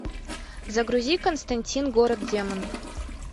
загрузи константин город демонов